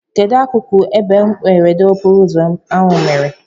Kedụ akụkụ ebe mberede okporoụzọ ahụ mere?